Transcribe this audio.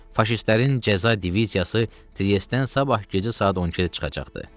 Faşistlərin cəza diviziyası Triestdən sabah gecə saat 12-də çıxacaqdı.